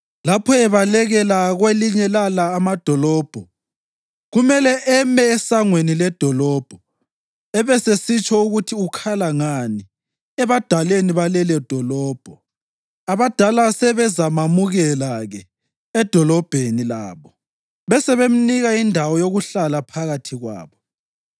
Lapho ebalekela kwelinye lala amadolobho, kumele eme esangweni ledolobho abesesitsho ukuthi ukhala ngani ebadaleni balelodolobho. Abadala sebezamamukela-ke edolobheni labo besebemnika indawo yokuhlala phakathi kwabo.